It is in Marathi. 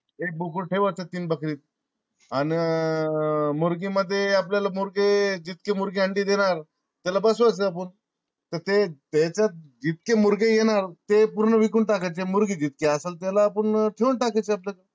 एक बोकड ठेवायच तीन बकरीत. अन मध्ये आपल्याला मुर्गे जितके मुर्ग अंडी देणार त्याला बसवायच अपुन तर ते हेच्यात जितके येणार ते पूर्ण विकून टाकायचे मुर्गे जितकी असल तिला अपुन ठेवून टाकायचे